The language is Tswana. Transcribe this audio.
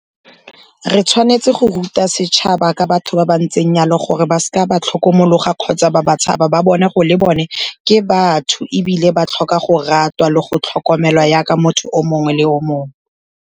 Re tshwanetse go ruta setšhaba ka batho ba ba ntseng jalo, gore ba seka ba tlhokomologa kgotsa ba ba tshaba, ba bone gore le bone ke batho ebile ba tlhoka go ratwa le go tlhokomelwa jaka motho o mongwe le o mongwe.